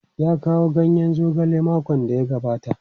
Ya kawo ganyen zogalen makon da ya gabata?